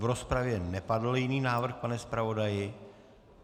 V rozpravě nepadl jiný návrh, pane zpravodaji?